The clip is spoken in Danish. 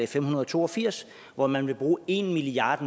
fem hundrede og to og firs hvor man vil bruge en milliard